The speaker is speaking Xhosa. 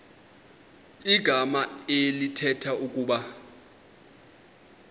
igama elithetha ukuba